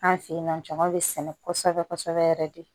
An fe yennɔ jama be sɛnɛ kɔsɛbɛ kɔsɛbɛ yɛrɛ de